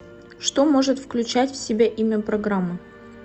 что может включать в себя имя программы